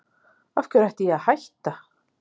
Af hverju ætti ég að hætta?